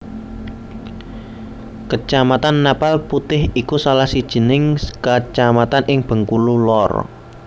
Kecamatan Napal Putih iku salah sijining kecamatan ing Bengkulu Lor